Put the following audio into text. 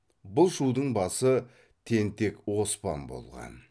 бұл шудың басы тентек оспан болған